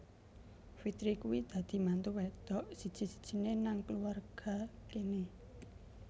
Fitri kuwi dadi mantu wedok siji sijine nang kulawarga kene